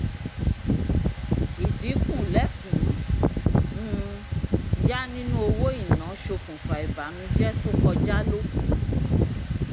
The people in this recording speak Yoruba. idinku lẹ́kùn-ún um yá nínú owó ina sokùnfa ìbànújẹ tó kọja lókun